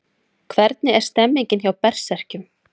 Hvernig er stemningin hjá Berserkjum?